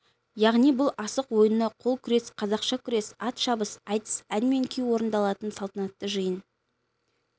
яғни бұл асық ойыны қол күрес қазақша күрес ат шабыс айтыс ән мен күй орындалатын салтанатты жиын